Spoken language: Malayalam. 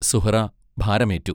സുഹ്റാ ഭരമേറ്റു